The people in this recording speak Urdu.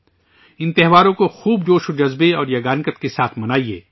ان تہواروں کو خوب خوشی اور رواداری کے ساتھ منائیے